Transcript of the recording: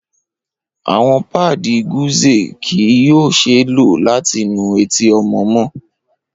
Awọn paadi gauze kii yoo ṣee lo lati nu eti ọmọ mọ